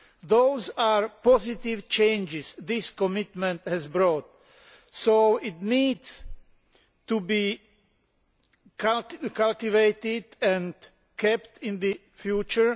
Those are positive changes this commitment has brought, so this needs to be cultivated and kept up in the future.